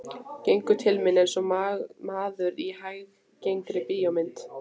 Gengur til mín einsog maður í hæggengri bíómynd.